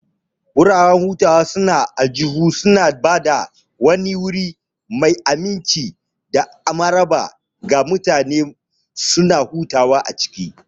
Wuraren shaƙatawa na aljihu suna ba da wani wuri mai aminci da maraba ga mutane su hadu a ciki.